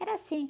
Era assim.